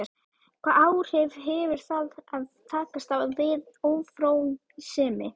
Hvaða áhrif hefur það að takast á við ófrjósemi?